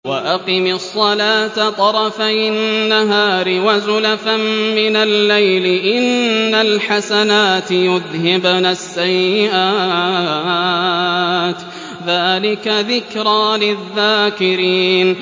وَأَقِمِ الصَّلَاةَ طَرَفَيِ النَّهَارِ وَزُلَفًا مِّنَ اللَّيْلِ ۚ إِنَّ الْحَسَنَاتِ يُذْهِبْنَ السَّيِّئَاتِ ۚ ذَٰلِكَ ذِكْرَىٰ لِلذَّاكِرِينَ